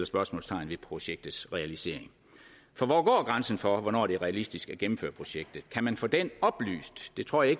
spørgsmålstegn ved projektets realisering for hvor går grænsen for hvornår det er realistisk at gennemføre projektet kan man få det oplyst det tror jeg